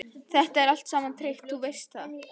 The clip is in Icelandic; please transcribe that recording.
Þetta er allt saman tryggt, þú veist það.